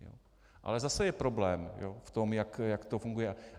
Ale zase je problém v tom, jak to funguje.